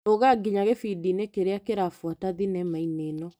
Rũga nginya gĩndi-inĩ kĩrĩa kĩrabuata thinema-inĩ ĩno .